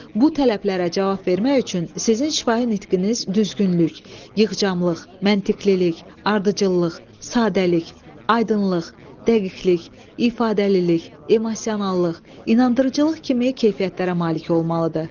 Bu tələblərə cavab vermək üçün sizin şifahi nitqiniz düzgünlük, yığcamlıq, məntiqililik, ardıcıllıq, sadəlik, aydınlıq, dəqiqlik, ifadəlilik, emosionallıq, inandırıcılıq kimi keyfiyyətlərə malik olmalıdır.